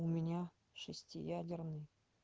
у меня шестиядерный